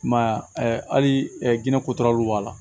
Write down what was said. I m'a ye hali gindo kotaraluw b'a la